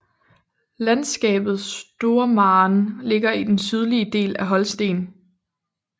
Landskabet Stormarn ligger i den sydlige del af Holsten